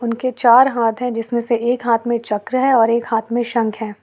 उनके चार हाथ है जिसमें से एक हाथ में चक्र है और एक हाथ में शंख है।